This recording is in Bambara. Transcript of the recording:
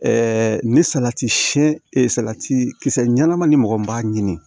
ni salati siyɛn salati kisɛ ɲɛnaman ni mɔgɔ min b'a ɲini